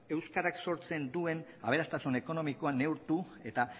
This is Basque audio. euskarak sortzen duen aberastasun ekonomikoa neurtu eta